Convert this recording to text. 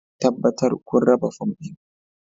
Tabbatar kun raba fom ɗin